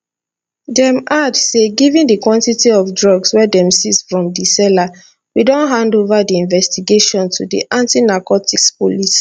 dem add say given di quantity of drugs wey dem seize from di seller we don hand ova di investigation to di antinarcotics police